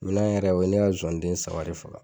Ɲinan yɛrɛ o ye ne ka zonzani den saba de faga